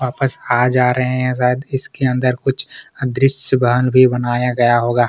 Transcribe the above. वापस आ जा रहै है शायद इसके अंदर कुछ अदृश्य वाहन भी बनाया गया होगा।